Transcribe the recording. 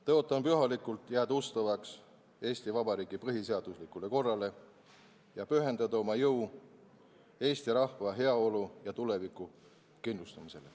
Tõotan pühalikult jääda ustavaks Eesti Vabariigi põhiseaduslikule korrale ja pühendada oma jõu Eesti rahva heaolu ja tuleviku kindlustamisele.